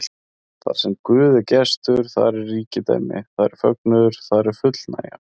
Þarsem Guð er gestur, þar er ríkidæmi, þar er fögnuður, þar er fullnægja.